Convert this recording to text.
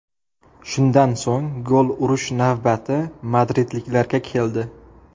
Shundan so‘ng gol urish navbati madridliklarga keldi.